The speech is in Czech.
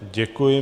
Děkuji.